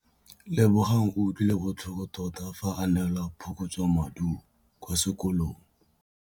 Lebogang o utlwile botlhoko tota fa a neelwa phokotsômaduô kwa sekolong.